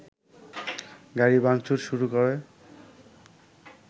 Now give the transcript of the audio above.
গাড়ি ভাংচুর শুরু করে